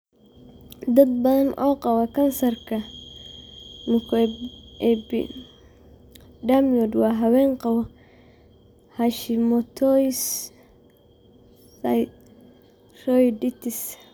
Dad badan oo qaba kansarka mucoepidermoid waa haween qaba Hashimoto's thyroiditis.